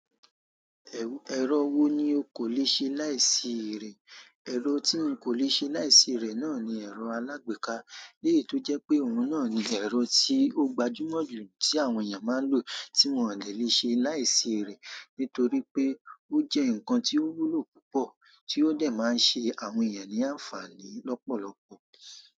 Ẹ̀rọ wo ni o kò le ṣe láìsí ré? Ẹ̀rọ tí n kò le ṣe láìsí eré náà ni ẹ̀rọ alágbèéká. Leyi tó jẹ́ pé òun náà ni ẹ̀rọ tí ó gbajúmọ̀ jù tí àwọn èèyàn máa ń lò tí wón o dè lè ṣe láìsí ré. Nítorí pé ó jẹ́ nǹkan tí ó wúlò púpọ̀ tí ó de máa ń ṣe àwọn èèyàn ní àǹfààní lọ́pọ̀lọpọ̀.